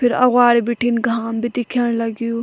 फिर अग्वाड़ी बिठिन घाम भी दिख्यण लग्युं।